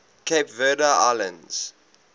cape verde islands